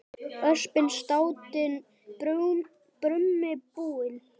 Öspin státin brumi búin.